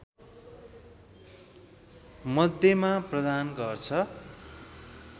मध्येमा प्रदान गर्छ